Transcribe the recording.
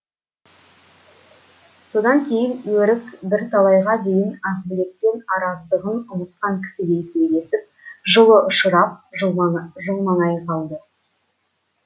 содан кейін өрік бірталайға дейін ақбілекпен араздығын ұмытқан кісідей сөйлесіп жылы ұшырап қалды